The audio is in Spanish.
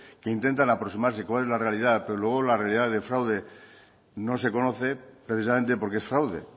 que intentan aproximarse a cómo es la realidad pero luego la realidad de fraude no se conoce precisamente porque es fraude